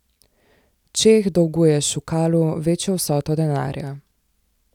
Čeh dolguje Šukalu večjo vsoto denarja.